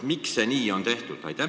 Miks see nii on tehtud?